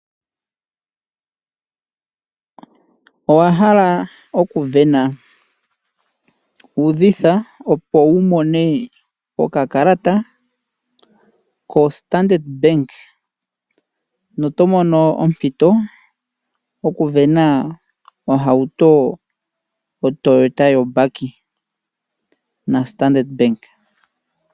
Owa hala okuvena?? Udhitha, opo wu mone okakalata koStandard Bank noto mono ompito okuvena ohauto oToyota yombaki naStandard Bank.